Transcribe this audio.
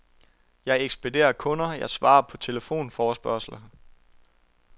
Jeg ekspederer kunder, jeg svarer på telefonforespørgsler.